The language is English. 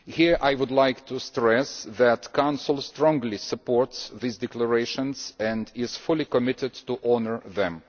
Here I would like to stress that the Council strongly supports these declarations and is fully committed to honouring them.